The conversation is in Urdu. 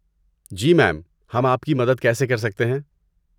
جی میم، ہم آپ کی مدد کیسے کر سکتے ہیں؟